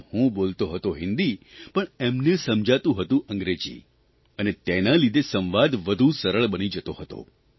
આમ હું બોલતો હતો હિંદી પણ એને સંભળાતું હતું અંગ્રેજી અને તેના લીધે સંવાદ વધુ સરળ બની જતો હતો